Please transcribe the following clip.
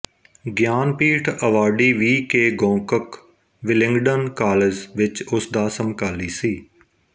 Jnanpith awardee V K Gokak Willingdon college ਵਿੱਚ ਉਸ ਦਾ ਸਮਕਾਲੀ ਸੀ